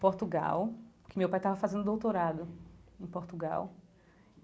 Portugal, que meu pai estava fazendo doutorado em Portugal.